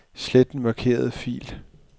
Slet den markerede fil.